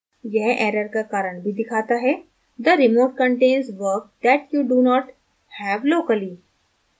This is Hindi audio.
यह error का कारण भी दिखाता है: the remote contains work that you do not have locally